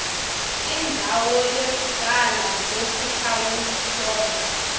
indzawo yekucala lokutawuhlolwa